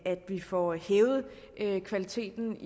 at vi får hævet kvaliteten